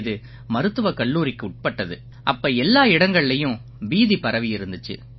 இது மருத்துவக் கல்லூரிக்குட்பட்டது அப்ப எல்லா இடங்கள்லயும் பீதி பரவியிருந்திச்சு